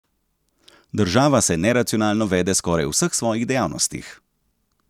Država se neracionalno vede skoraj v vseh svojih dejavnostih.